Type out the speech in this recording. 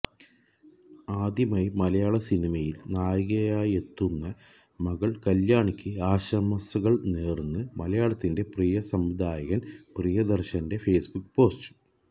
ആദ്യമായി മലയാള സിനിമയില് നായികയായെത്തുന്ന മകള് കല്യാണിക്ക് ആശംസകള് നേര്ന്ന് മലയാളത്തിന്റെ പ്രിയ സംവിധായകന് പ്രിയദര്ശന്റെ ഫെയ്സ്ബുക്ക് പോസ്റ്റ്